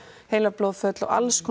heilablóðföll og